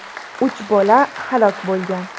Uch bola halok bo‘lgan.